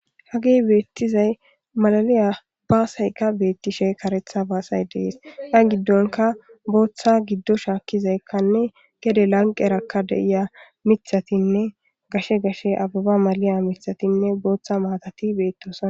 Hagey beettizay malaliya baasayka beettishe karetha baasay dees. Iya giddonka booththa giddo shaakkizaykkanne gede lanqerakka de7iya mithatinne gashe gashe ababa maliya mithatinne booththa maatati beettoosa.